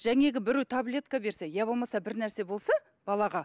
біреу таблетка берсе я болмаса бірнәрсе болса балаға